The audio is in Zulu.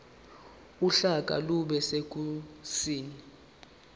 uhlaka lube sekhasini